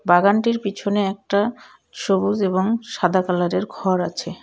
বাগানটির পিছনে একটা সবুজ এবং সাদা কালারের ঘর আছে।